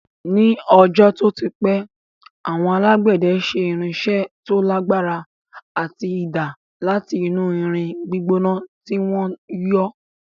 Ní ọjọ́ tó ti pẹ́, àwọn alágbẹ̀dẹ ṣe irinṣẹ́ tó lagbara ati idà láti inú irin gbígbóná tí wọ́n yọ́